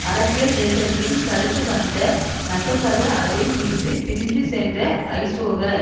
அரசியல் இயக்கத்தையும் தடுத்து வந்த நசசக அதில் இருந்து பிரிந்து சென்ற ஐசோக